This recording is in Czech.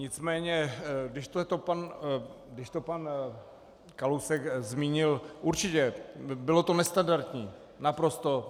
Nicméně když to pan Kalousek zmínil, určitě, bylo to nestandardní, naprosto.